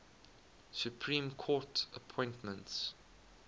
supreme court appointments